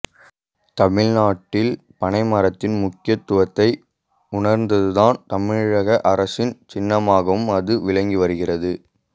தமிழ்நாட்டில் பனை மரத்தின் முக்கியத்துவத்தை உணர்ந்துதான் தமிழக அரசின் சின்னமாகவும் அது விளங்கி வருகிறது